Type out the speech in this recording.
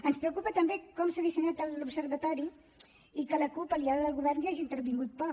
ens preocupa també com s’ha dissenyat l’observatori i que la cup aliada del govern hi hagi intervingut poc